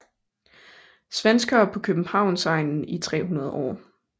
Svenskere på Københavnsegnen i 300 år